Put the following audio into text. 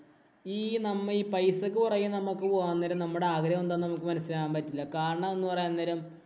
ഈ നമ്മ ഈ പൈസക്ക് പുറകെ നമ്മ പോകാന്‍ നേരം നമ്മടെ ആഗ്രഹം എന്താന്നു നമുക്ക് മനസിലാക്കാന്‍ പറ്റില്ല. കാരണം, എന്ന് പറയാന്‍ നേരം